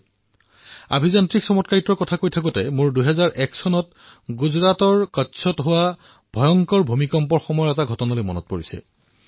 ইঞ্জিনীয়াৰিঙৰ পৃথিৱীৰ চমৎকাৰৰ কথা যেতিয়া মই কওঁ তেতিয়া ২০০১ চনত গুজৰাটৰ কচ্ছত যি ভূমিকম্প আহিছিল তাৰে এক ঘটনা মনলৈ আহে